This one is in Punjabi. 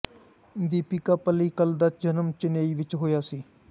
ਦੀਪਿਕਾ ਪੱਲੀਕਲ ਦਾ ਜਨਮ ਚੇਨਈ ਵਿੱਚ ਹੋਇਆ ਸੀ